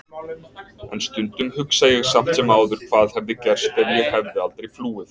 En stundum hugsa ég samt sem áður hvað hefði gerst ef ég hefði aldrei flúið.